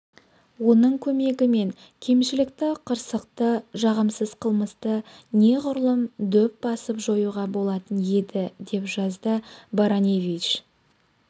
оның көмегімен кемшілікті қырсықты жағымсыз қылмысты неғұрлым дөп басып жоюға болатын еді деп жазды бараневич